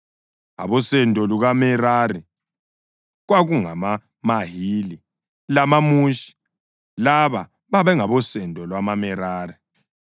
Abosendo lukaMerari kwakungamaMahili lamaMushi; laba babengabosendo lwamaMerari.